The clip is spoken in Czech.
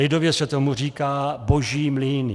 Lidově se tomu říká boží mlýny.